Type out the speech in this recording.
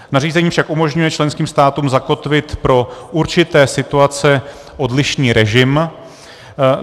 Nařízení však umožňuje členským státům zakotvit pro určité situace odlišný režim.